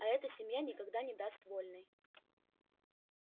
а эта семья никогда не даст вольной